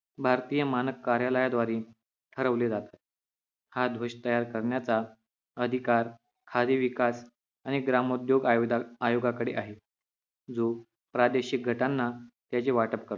भारतीय मानक कार्यालयाद्वारे ठरवले जाते हा ध्वज तयार करण्याचा अधिकार खादी विकास आणि ग्राम उद्योग आवेदा आयोगाकडे आहे जो प्रादेशिक घटना यांचे वाटप करतो